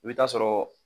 I bɛ taa sɔrɔ